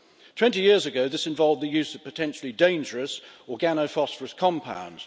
Twenty years ago, this involved the use of potentially dangerous organophosphorus compounds.